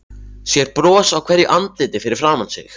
Sér bros á hverju andliti fyrir framan sig.